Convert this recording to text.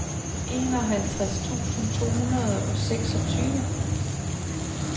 enoghalvtreds tusind to hundrede og seksogtyve